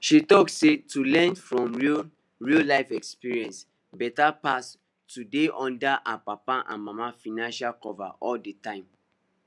she talk say to learn from real real life experience better pass to dey under her papa and mama financial cover all the time